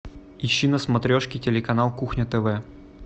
ищи на смотрешке телеканал кухня тв